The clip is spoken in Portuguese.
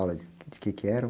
Aulas de, de quê que eram?